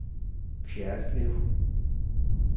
Fjerritslev